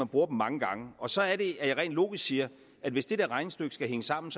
bruger dem mange gange og så er det at jeg rent logisk siger at hvis det regnestykke skal hænge sammen